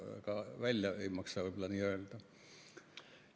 Aga seda ei maksa võib-olla ka nii välja öelda.